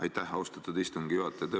Aitäh, austatud istungi juhataja!